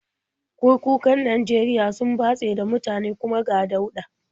Kurkukan Najeriya sun batse da mutane, kuma ga dauɗa.